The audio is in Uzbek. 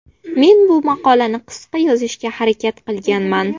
Men bu maqolani qisqa yozishga harakat qilganman.